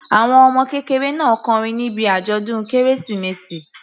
Àwọn ọmọ kékeré náà kọrin níbi àjọ̀dún kérésìmesì.